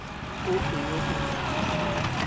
ope yo o nang le